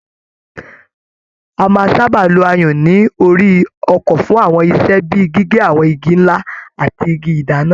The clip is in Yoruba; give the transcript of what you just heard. A máà sábà lo ayùn ní orí ọkọ fún àwọn iṣẹ́ bíi gígé àwọn Igi ńlá ati Igi ìdáná.